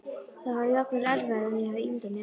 Það var jafnvel erfiðara en ég hafði ímyndað mér.